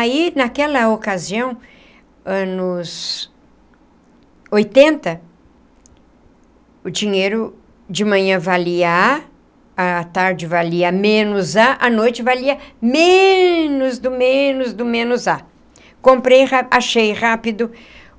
Aí, naquela ocasião, anos oitenta, o dinheiro de manhã valia A, a tarde valia menos A, a noite valia menos do menos do menos A. Comprei, achei rápido,